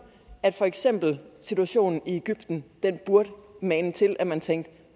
at for eksempel situationen i egypten burde mane til at man tænkte